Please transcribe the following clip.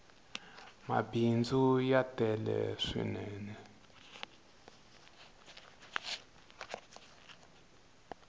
mabindzu ya tele swinene